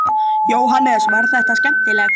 Jóhannes: Var þetta skemmtilegt?